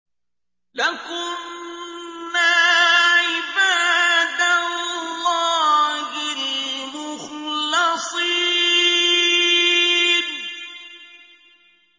لَكُنَّا عِبَادَ اللَّهِ الْمُخْلَصِينَ